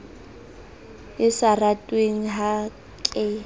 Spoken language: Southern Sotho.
e sa ratweng ha ke